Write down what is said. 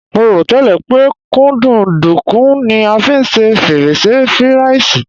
Mo rò tẹ́lẹ̀ pé kúkúǹdùkú ni a fi ṣe fírẹ́nṣí firàìsì